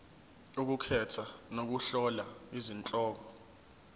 ukukhetha nokuhlola izihloko